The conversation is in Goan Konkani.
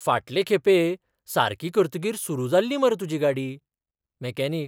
फाटले खेपे सारकी करतकीर सुरू जाल्ली मरे तुजी गाडी. मॅकॅनिक